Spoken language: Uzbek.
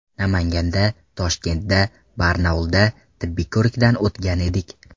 Namanganda, Toshkentda, Barnaulda tibbiy ko‘rikdan o‘tgan edik.